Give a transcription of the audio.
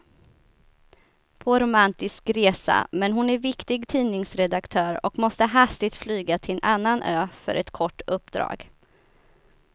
På romantisk resa, men hon är viktig tidningsredaktör och måste hastigt flyga till en annan ö för ett kort uppdrag.